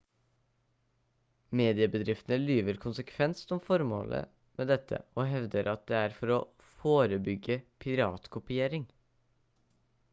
mediebedriftene lyver konsekvent om formålet med dette og hevder at det er for å «forebygge piratkopiering»